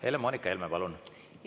Helle‑Moonika Helme, palun!